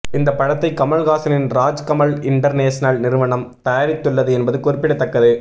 இந்த படத்தை கமல்ஹாசனின் ராஜ்கமல் இண்டர்நேஷனல் நிறுவனம் தயாரித்துள்ளது என்பது குறிப்பிடத்தக்கது